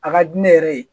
A ka di ne yɛrɛ ye